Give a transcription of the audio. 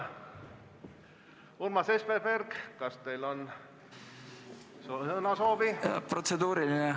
Urmas Espenberg, kas soovite sõna võtta?